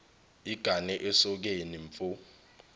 igane esokeni mfo